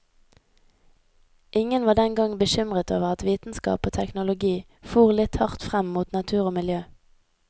Ingen var den gang bekymret over at vitenskap og teknologi fôr litt hardt frem mot natur og miljø.